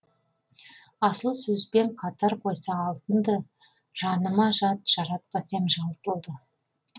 асыл сөзбен қатар қойса алтынды жаныма жат жаратпас ем жалтылды